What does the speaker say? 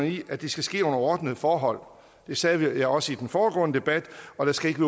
i at det skal ske under ordnede forhold det sagde jeg også i den foregående debat og der skal ikke